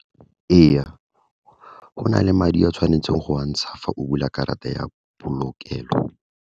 Ee, go na le madi a tshwanetseng go a ntsha, fa o bula karata ya polokelo.